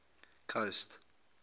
coast